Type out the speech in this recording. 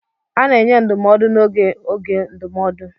A na-enye ndụmọdụ n'oge oge ndụmọdụ.